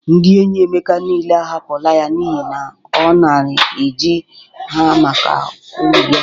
Ndị enyi Emeka niile ahapụla ya n'ihe na ọ nara e ji ha maka uru ya.